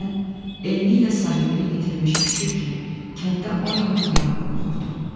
Mən eynilə sahibini itirmiş köçü kimi kənddə o yana bu yana vurnuxurdum.